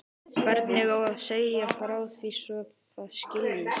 Hvernig á að segja frá því svo það skiljist?